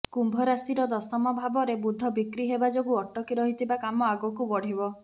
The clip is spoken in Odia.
କୁମ୍ଭ ରାଶିର ଦଶମ ଭାବରେ ବୁଧ ବକ୍ରି ହେବା ଯୋଗୁ ଅଟକି ରହିଥିବା କାମ ଆଗକୁ ବଢିବ